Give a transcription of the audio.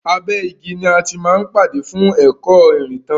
Abé igi ni a ti máa ń pàdé fún ẹ̀kọ́ ìrìntàn wá.